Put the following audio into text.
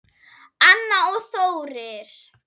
Anna og Þórir.